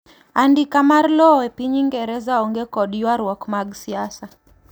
andika mar lowo e piny ingereza onge kod yuaruok mag siasa